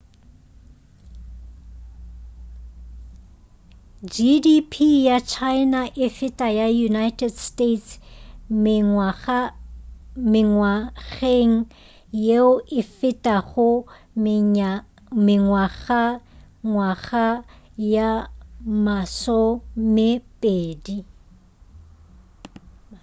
gdp ya china e ka feta ya united states mengwageng yeo e fetago mengwagangwaga ye masomepedi